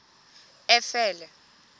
efele